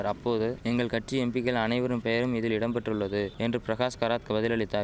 ரப்போது எங்கள் கட்சி எம்பிக்கள் அனைவரும் பெயரும் அதில் இடம் பெற்றுள்ளது என்று பிரகாஷ் கராத் வதிலளித்தார்